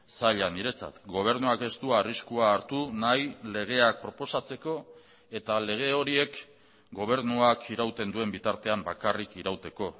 zaila niretzat gobernuak ez du arriskua hartu nahi legeak proposatzeko eta lege horiek gobernuak irauten duen bitartean bakarrik irauteko